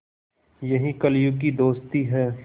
यही कलियुग की दोस्ती है